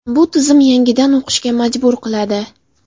Bu tizim yangidan o‘qishga majbur qiladi.